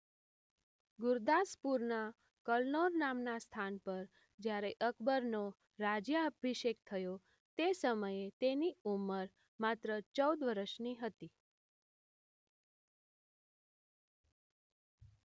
ગુરદાસપુરના કલનૌર નામનાં સ્થાન પર જ્યારે અકબરનો રાજ્યાભિષેક થયો તે સમયે તેની ઉંમર માત્ર ચૌદ વર્ષની હતી